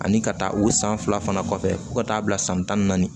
Ani ka taa o san fila fana kɔfɛ fo ka taa bila san tan ni naani